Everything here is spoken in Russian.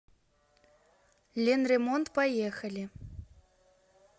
ленремонт поехали